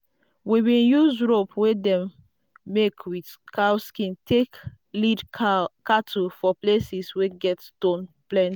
we bin use rope wey dem make with cow skin take lead cattle for places wey get stone plenty.